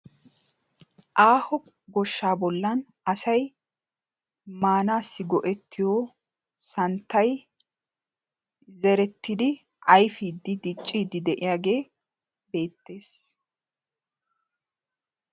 Aaho goshsha bollan asay maanasi go'ettiyo santtay zerettidi ayfidi diccidi de'iyage beetees.